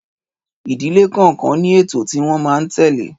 Ìdílé kọọkan ní ètò tí wón máa n tele